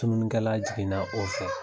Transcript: Tununikɛla jiginna o fɛ.